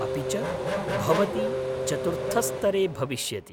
अपि च भवती चतुर्थस्तरे भविष्यति।